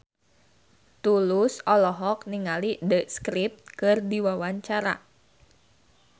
Tulus olohok ningali The Script keur diwawancara